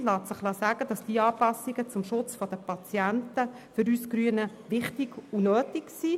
Abschliessend ist zu sagen, dass diese Anpassungen zum Schutz der Patienten für uns Grüne wichtig und nötig sind.